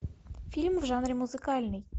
фильм в жанре музыкальный